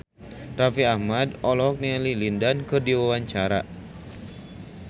Raffi Ahmad olohok ningali Lin Dan keur diwawancara